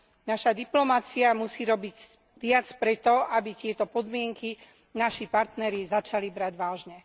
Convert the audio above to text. Naša diplomacia musí robiť viac preto, aby tieto podmienky naši partneri začali brať vážne.